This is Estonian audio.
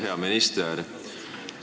Hea minister!